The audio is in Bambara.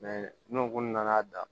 n'u kun nana